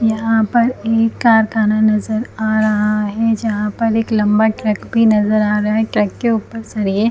यहाँ पर एक कार दाना नज़र आ रहा है जहाँ पर एक लंबा ट्रक भी नज़र आ रहा है ट्रक के ऊपर सरये --